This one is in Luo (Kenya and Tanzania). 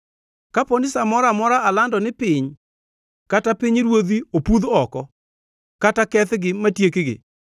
Kapo ni sa moro amora alando ni piny kata pinyruodhi opudh oko, kata kethgi matiekgi,